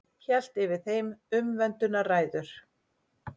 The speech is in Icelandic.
Hélt yfir þeim umvöndunarræður.